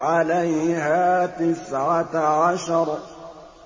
عَلَيْهَا تِسْعَةَ عَشَرَ